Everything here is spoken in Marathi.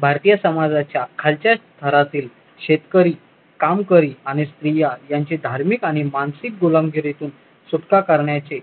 भारतीय समाजाच्या खालच्या थरातील शेतकरी कामकरी आणि स्त्रिया यांची धार्मिक आणी मानसिक गुलामगिरीतून सुटका करण्याचे